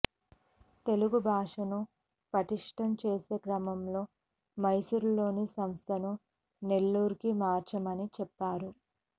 తెలుగు భాషను పటిష్ఠం చేసే క్రమంలో మైసూరులోని సంస్థను నెల్లూరుకు మార్చామని చెప్పారు